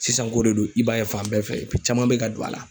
Sisan ko de don, i b'a ye fan bɛɛ fɛ caman bɛ ka don a la.